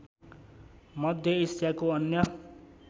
मध्य एसियाको अन्य